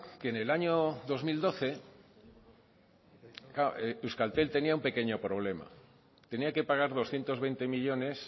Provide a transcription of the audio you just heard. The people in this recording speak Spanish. que en el año dos mil doce euskaltel tenía un pequeño problema tenía que pagar doscientos veinte millónes